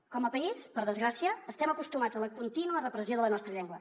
com a país per desgràcia estem acostumats a la contínua repressió de la nostra llengua